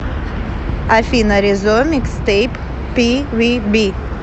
афина резо микстэйп пивиби